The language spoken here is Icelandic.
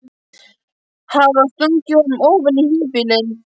Hafa stungið honum ofan í híbýlin.